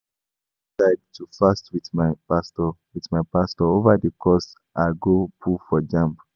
I don decide to fast with my pastor with my pastor over the course I go put for jamb